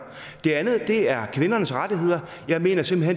det andet er kvindernes rettigheder jeg mener simpelt